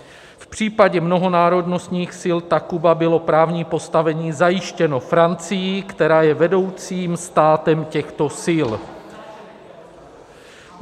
V případě mnohonárodnostních sil Takuba bylo právní postavení zajištěno Francií, která je vedoucím státem těchto sil.